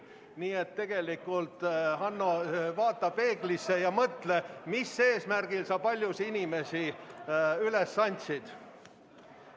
Nii et tegelikult, Hanno, vaata peeglisse ja mõtle, mis eesmärgil sa paljud inimesed üles andsid.